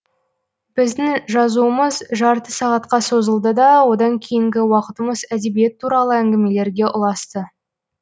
біздің жазуымыз жарты сағатқа созылды да одан кейінгі уақытымыз әдебиет туралы әңгімелерге ұласты